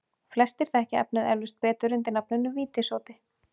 Flestir þekkja efnið eflaust betur undir nafninu vítissódi.